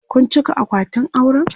Kun cika akwatin auren?